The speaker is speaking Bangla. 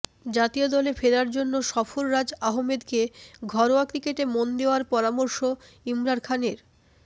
জাতীয় দলে ফেরার জন্য সরফরাজ আহমেদকে ঘরোয়া ক্রিকেটে মন দেওয়ার পরামর্শ ইমরান খানের